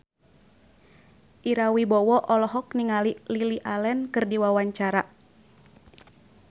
Ira Wibowo olohok ningali Lily Allen keur diwawancara